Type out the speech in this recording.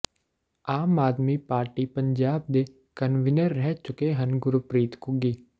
ਆਮ Aadmi Party Punjab ਦੇ convener ਰਹਿ ਚੁੱਕੇ ਹਨ ਗੁਰਪ੍ਰੀਤ ਘੁੱਗੀ